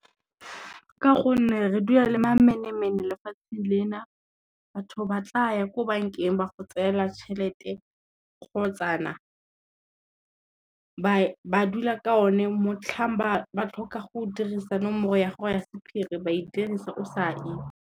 Ka gonne re dula le mamenemene lefatsheng lena, batho ba tlaya ko bankeng ba go tsaela tšhelete kgotsa na ba dula ka o ne, motlhang ba tlhoka go dirisa nomoro ya go ya sephiri ba e dirisa o sa itsi.